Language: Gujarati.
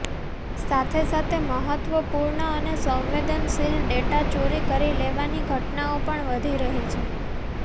સાથે સાથે મહત્વપૂર્ણ અને સંવેદનશીલ ડેટા ચોરી કરી લેવાની ઘટનાઓ પણ વધી રહી છે